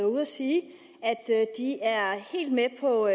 ude at sige at de er helt med på